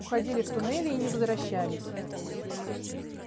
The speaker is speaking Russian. уходили в туннели и не возвращались